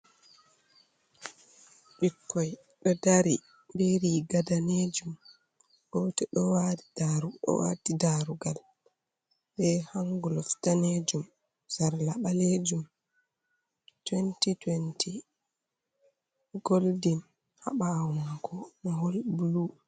Ɓikkoi ɗo dari be riga danejum goto ɗo wati darugal be hanglof danejum, sarla ɓalejum, 2020 goldin ha bawo mako mohol blu.